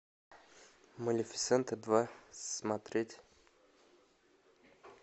малефисента два смотреть